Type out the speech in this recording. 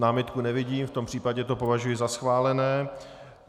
Námitku nevidím, v tom případě to považuji za schválené.